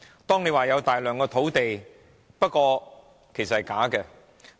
政府說有大量土地，不過是假的。